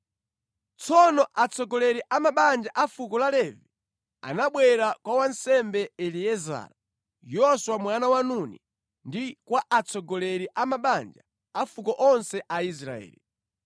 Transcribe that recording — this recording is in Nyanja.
Tsono atsogoleri a mabanja a fuko la Levi anabwera kwa wansembe Eliezara, Yoswa mwana wa Nuni, ndi kwa atsogoleri a mabanja a mafuko onse a Aisraeli,